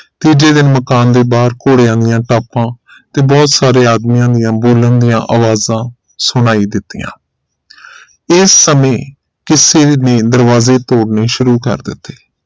ਤੇ ਜਿਹੜੇ ਮਕਾਨ ਦੇ ਬਾਹਰ ਘੋੜਿਆਂ ਦੀਆ ਟਾਪਾ ਤੇ ਬਹੁਤ ਸਾਰੇ ਆਦਮੀਆਂ ਦੀਆਂ ਬੋਲਣ ਦੀਆ ਅਵਾਜ਼ਾਂ ਸੁਣਾਈ ਦਿੱਤੀਆਂ ਇਸ ਸਮੇ ਕਿਸੇ ਨੇ ਦਰਵਾਜ਼ੇ ਤੋੜਨੇ ਸ਼ੁਰੂ ਕਰ ਦਿਤੇ